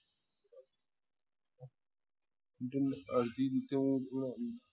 જેને અડધી રીતે